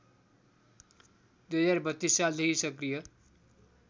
२०३२ सालदेखि सक्रिय